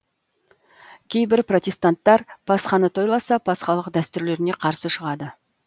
кейбір протестанттар пасханы тойласа пасхалық дәстүрлеріне қарсы шығады